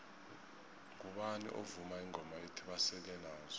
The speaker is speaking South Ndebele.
mgubani ovuma ingoma ethi basele nazo